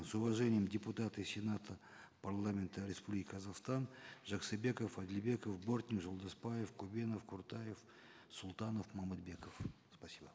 с уважением депутаты сената парламента республики казахстан жаксыбеков адильбеков бортник жолдасбаев кубенов куртаев султанов момытбеков спасибо